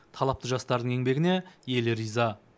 талапты жастардың еңбегіне елі риза